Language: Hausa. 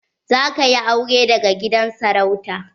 Za ka yi aure daga gidan sarauta?